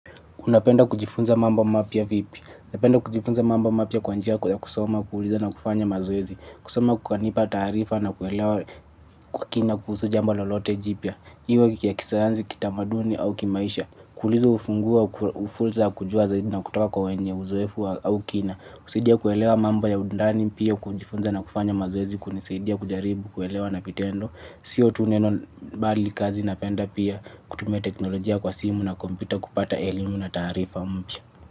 Unapenda kujifunza mambo mapya vipi. Napenda kujifunza mambo mapya kwa njia ya kusoma na kufanya mazoezi. Kusoma kukanipa taarifa na kuelewa kwa kina kuhusu jamba lolote jipya. Iwe ya kisayansi, kitamaduni au kimaisha. Kuuliza ufunguo, wa fursa ya kujua zaidi na kutoka kwa wenye, uzoefu au kina. Kusaidia kuelewa mambo ya undani pia kujifunza na kufanya mazoezi. Kunisaidia kujaribu, kuelewa na vitendo. Sio tu neno mbali kazi napenda pia kutumia teknolojia kwa simu na kompyuta kupata elimu na taarifa mpya.